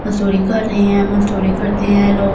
मजदूरी कर रहे है मजदूरी करते हैं लोग दो--